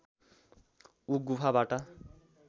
ऊ गुफाबाट